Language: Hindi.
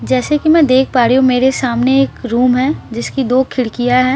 जैसे की मैं देख पा रही हूँ मेरे सामने एक रूम है जिसकी दो सारी खिडकिया हैं --